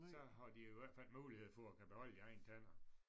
Så har de i hvert fald mulighed for at kan beholde deres egne tænder